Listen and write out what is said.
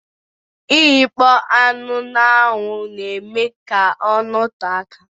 Ighakpo anụ na-anwu na-eme ka ọ note aka